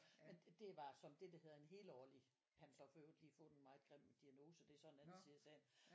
Men det er bare som det der hedder en helårlig. Han har så forøvrigt lige fået en meget grim diagnose det er så en anden side af sagen